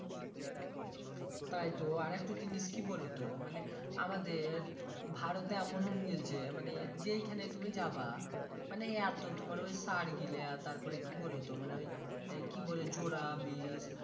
তাই তো আর একটা জিনিস কি বোলো তো মানে আমাদের ভারতে এমন হুং গেলছে মানে যেই খানেই তুমি যাবা মানে এত তুমার সার গীলা তারপরে কি বুলোতো মানে ওই কি বোলে জোরা বিষ